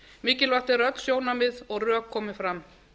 mikilvægt er að öll sjónarmið og rök komi fram